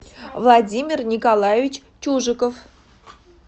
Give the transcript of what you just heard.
владимир николаевич чужиков